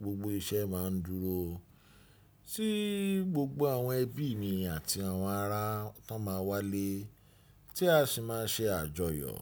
gbogbo iṣẹ́ máa ń dúró, tí gbogbo àwọn ẹbí mi àti àwọn ará tán máa wá lé, tí a sì máa ṣe àjọyọ̀.